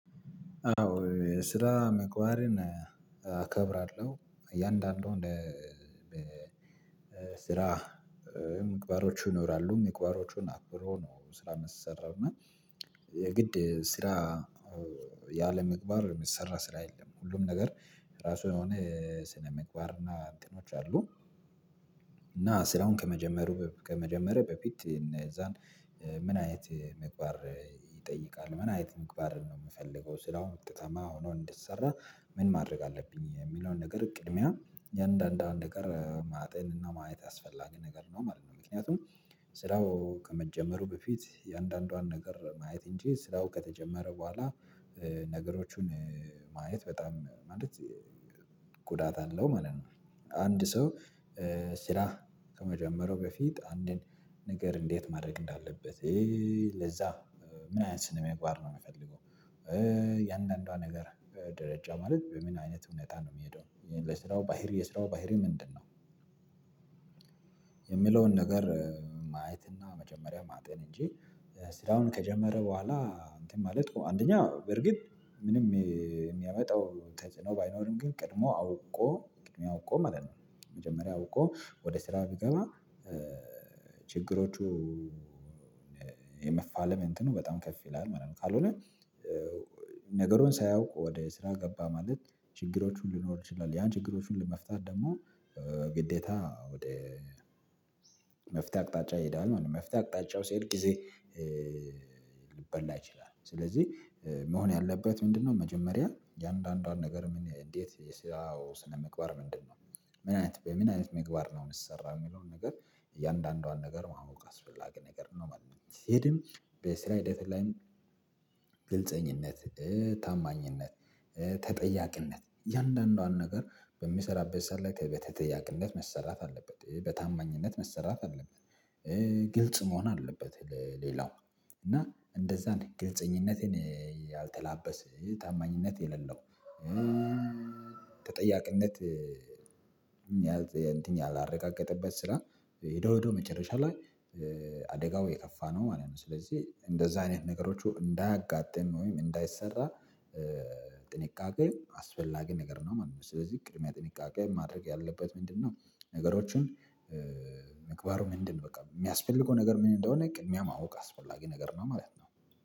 አዎ ስራ ምግባርን እከብራለሁ እያንዳንዱ ስራ ምግባሮች ይኖራሉ ምግባሮቹን አክብሮ ነው ስራ የሚሰራው እና የግድ ስራ ያለምግባር የሚሰራ ስራ የለም። ሁሉም ነገር ራሱ የሆነ ስነመግባር እና እንትኖች አሉ። እና ስራውን ከመጀመሩ ከመጀመረ በፊት እነዛን ምን አይነት ምግባር ይጠይቃል? ምን አይነት ምግባር ነው የምፈልገው ስራው ውጤታማ ሆኖ እንዲሰራ ምን ማድረግ አለብኝ የሚለውን ነገር ቅድሚያ ያንዳንዷ ነገር ማጤን እና ማየት አስፈላጊ ነገር ነው ማለት ነው። ምክንያቱም ስራው ከመጀመሩ በፊት የአንዳንዷን ነገር ማየት እንጂ ስራው ከተጀመረ በኋላ ነገሮቹን ማየት በጣም ማለት ጉዳት አለው። ማለት ነው። አንድ ሰው ስራ ከመጀመሩ በፊት አንድን ነገር እንዴት ማድረግ እንዳለበት ለዛ ምን አይነት ስነምግባር ነው የምፈልገው? የእንደአንዷ ነገር በደረጃው ማለት በምን አይነት ሁኔታ ነው የሚሄደው ይሄን ለስራው ባህሪ የስራው ባህሪ ምንድነው? የሚለውን ነገር ማየት እና መጀመሪያ ማጤን እንጂ። ስራውን ከጀመረ በኋላ እንትን ማለት አንደኛ በርግጥ ምንም የሚያመጣው ተጽኖ ባይኖርም ግን ቅድሞ አውቆ ቅድሚያ አውቆ ማለት ነው። መጀመሪያ አውቆ ወደ ስራ ቢገባ ችግሮቹ የመፋለም እንትኑ በጣም ከፍ ይላል ማለት ነው። ካልሆነ ነገሩን ሳያውቅ ወደ ስራ ገባ ማለት ችግሮቹን ሊኖር ይችላል። ያ ችግሮቹን ለመፍታት ደግሞ ግዴታ ወደ መፍትሄ አቅጣጫ ይሄዳል ማለት ነው። መፍትሄ አቅጣጫው ሲሄድ ጊዜ ሊበላ ይችላል። ስለዚህ መሆን ያለበት ምንድነው? መጀመሪያ የአንዳንዷን ነገር ምን እንዴት የስራው ስነምግባር ምንድነው? ምን አይነት በምን አይነት ምግባር ነው ሚሰራው የሚለውን ነገር እያንዳንዷን ነገር ማወቅ አስፈላጊ ነገር ነው ማለት ነው። ሲሄድም በስራ ሂደት ላይ ግልፀኝነት ታማኝነት ተጠያቅነት የእያንዳንዷን ነገር በሚሰራበት ሰዓት ላይ በተጠያቅነት መሰራት አለበት በታማኝነት መሰራት አለበት። ግልጽ መሆን አለበት። ሌላው እና እንደዛ ግልጽኝነቴን ያልተላበሰ ታማኝነት የሌለው። ተጠያቅነት እንትን ያላረጋገጠበት ስራ ሄዶ ሄዶ መጨረሻ ላይ የከፋ ነው ማለት ነው። ስለዚህ እንደዛ አይነት ነገሮች እንዳያጋጥም ወይም እንዳይሰራ ጥንቃቄ አስፈላጊ ነገር ነው ማለት ነው። ስለዚህ ቅድሚያ ጥንቃቄ ማድረግ ያለበት ምንድነው? ነገሮችን ምግባሩ ምንድነው? በቃ የሚያስፈልገው ነገር ምን እንደሆነ ቅድሚያ ማወቅ አስፈላጊ ነገር ነው ማለት ነው።